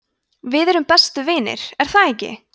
við erum bestu vinir er það ekki